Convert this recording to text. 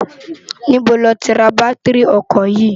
Nibó ló ti rá bàtirí òkò yi?